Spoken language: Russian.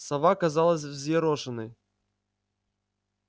сова казалась взъерошенной